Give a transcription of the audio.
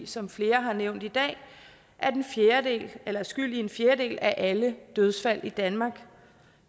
som flere har nævnt i dag skyld i en fjerdedel af alle dødsfald i danmark